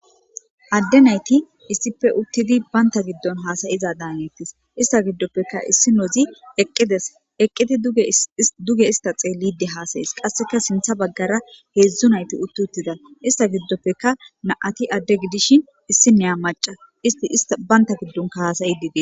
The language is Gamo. Adde nayti issippe uttidi baynta giddon haasayiza daaneettis ista giddoppeka issi nozi eqqides eqqiti duge ista xeellide haasayis qasseka sintha baggara heedzdzu nayti uttuttida ista giddoppeka naati adde gidishin issi neya maca isti baynta giddonka hasayidide.